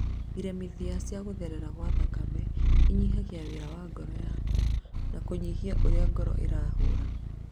Iremithia cia gũtherera gwa thakame inyihagia wĩra wa ngoro yaku na kũnyihia ũrĩa ngoro ĩrahũra